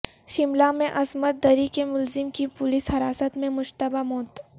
شملہ میں عصمت دری کے ملزم کی پولیس حراست میں مشتبہ موت